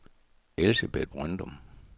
Elsebeth Brøndum